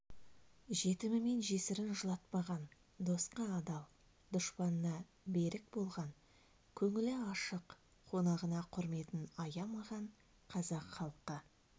жетімі мен жесірін жылатпаған досқа адал дұшпанына берік болған көңілі ашық қонағына құрметін аямаған қазақ халқы